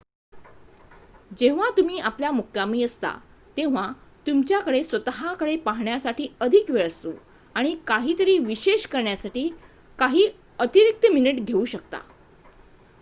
जेव्हा तुम्ही आपल्या मुक्कामी असता तेव्हा तुमच्या कडे स्वत:कडे पाहण्यासाठी अधिक वेळ असतो आणि काही तरी विशेष करण्यासाठी काही अतिरीक्त मिनिट घेऊ शकता